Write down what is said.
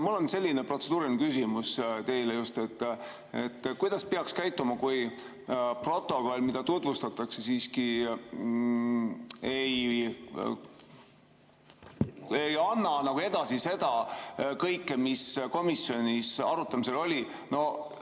Mul on selline protseduuriline küsimus teile: kuidas peaks käituma, kui protokoll, mida tutvustatakse, siiski ei anna edasi kõike seda, mis komisjonis arutamisel oli?